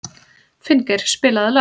Finngeir, spilaðu lag.